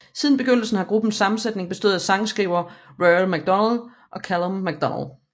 Siden begyndelsen har gruppens sammensætning bestået af sangskriverne Rory Macdonald og Calum Macdonald